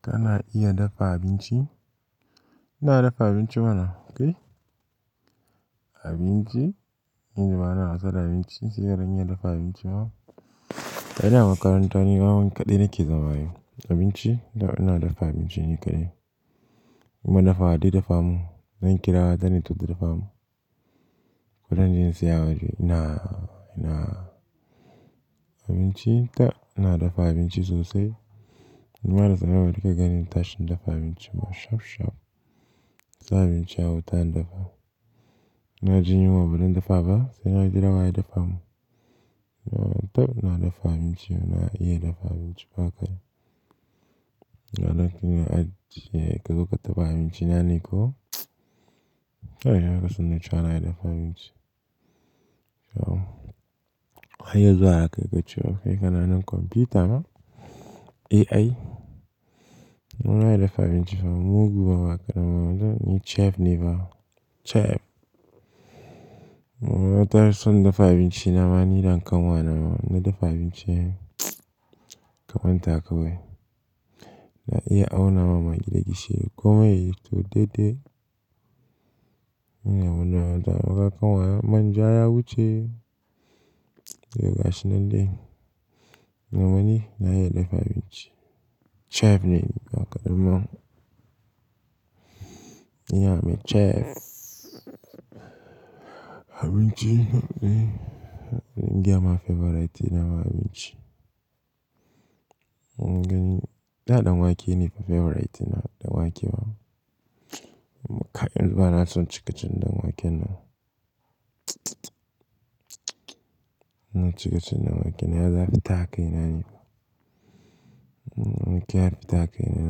Kana iya dafa abinci? Ina dafa abinci mana kai. Abinci, inji bana son abinci sai gadon iya dafa abinci ma. Da ina makaranta ne kawai kaɗai nake zama yi abinci. Ina dafa abinci nika dai. In mun dafa haɗe dafa mu, zan kira wa, ta ne ta da dafa mu. Ko dan jinyar siyawa ce ina, ina abinci ta, ina dafa abinci sosai. In ma na tsarewa duka gani in tashi in dafa abinci ma shaf shaf. Sa abinci a wuta in dafa. Na ji yunwa ba zan dafa ba, sai na kira wa ya dafa mu. Na tauna dafa abinci, ina iya dafa abinci ba kaɗai. Na ɗauki na ajiye, kai kuka taba abinci na ne ko? Sai ya kaso na yi cewa na iya dafa abinci. Yau, kai yazo haka ka ce wa kai kana nan kwamfuta ma, AI. Nawa ya dafa abinci fa? Mugun bawa kaɗan ma wanzu ne chief ne fa, chief. Wata sun dafa abinci na ma ni da kanwa na ma, na dafa abinci kamar taka wai. Na iya awo na mamaki da gishiri komai, to daidai. In yau mun dawo da yawa kakanwa manja ya wuce, ya gasa nan dai. Na wani na iya dafa abinci. Chief ne a ƙaramar. In yamin chief. Abinci, nawa favorite na abinci. Gani, daɗa wake ne favorite na, da wake ma. In ba na son cikacin dan wake na. Cikacin dan wake na ya zafi taka ina ne. Wake ya fita kai ina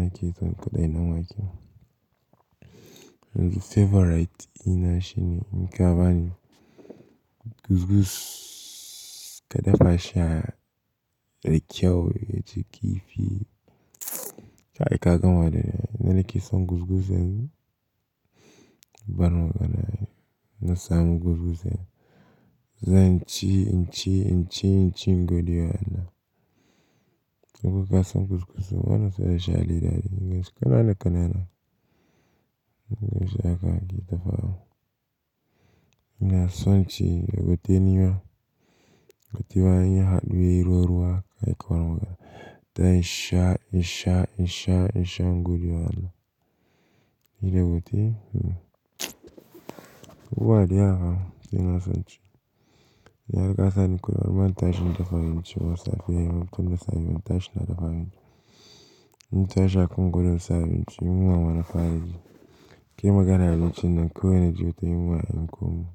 nake son kaɗai na wake ma. Favorite ina shine nika bani, kuzguz ka dafa shi, da kyau, jiki fi. Kai kaƙanwa daidai. Na nake son kuzguz in, ban waka na yi. Na samu kuzguz in. Zan ci, ci, ci, ci gobe yana. In kuka son kuzguz, wana sai a sha littafi. Gani kanana kanana. Gani sha haka ki dafa. Ina son ci, da goten nawa. Gotewa ina haɗuwi ruwa, kai ƙwaro waka. Ta sha, sha, sha, sha gobe yana. Yi da gotewa. Wari yara, ina son ci. Ya gasa ni kullum an tashi in dafa abinci ma safiya. Mutum da safe in tashi na dafa abinci. In tashi haka gobe zan sha abinci. Yunwa bana fara ji. Kimaganan abinci na ko yana ji wata yunwa an koma.